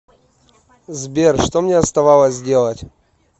сбер что мне оставалось делать